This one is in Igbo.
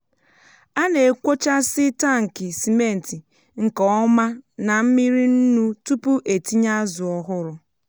a na-ekwòchásiị́ tankị simenti nke ọma na mmiri nnu tupu e tinye azụ ọhụrụ.